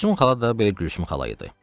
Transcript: Gülsüm xala da belə Gülsüm xala idi.